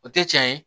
O tɛ cɛn ye